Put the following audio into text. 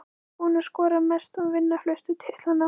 Hver er búinn að skora mest og vinna flestu titlana?